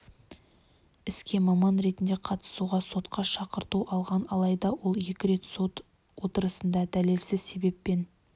іске маман ретінде қатысуға сотқа шақырту алған алайда ол екі рет сот отырысына дәлелсіз себеппен